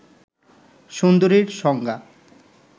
সুন্দরীর সংজ্ঞা